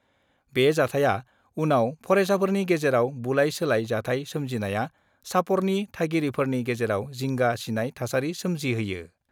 बे जाथाया उनाव फरायसाफोरनि गेजेराव बुलाय- सोलाय जाथाय सोमजिनाया चापरनि थागिरिफोरनि गेजेराव जिंगा सिनाय थासारि सोमजिहोयो।